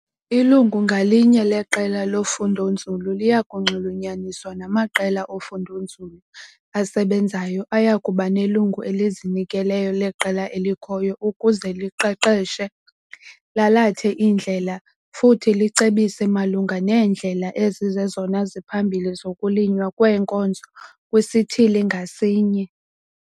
Ilungu ngalinye leqela lofundonzulu liya kunxulunyaniswa namaqela ofundonzulu asebenzayo aya kuba nelungu elizinikeleyo leqela elikhoyo ukuze liqeqeshe, lalath' indlela futhi licebise malunga neendlela ezizezona ziphambili zokulinywa kweenkozo kwisithili ngasinye.